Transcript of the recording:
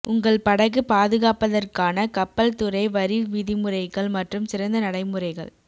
உங்கள் படகு பாதுகாப்பதற்கான கப்பல்துறை வரி விதிமுறைகள் மற்றும் சிறந்த நடைமுறைகள்